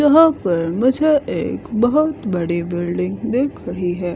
यहां पर मुझे एक बहोत बड़ी बिल्डिंग दिख रही है।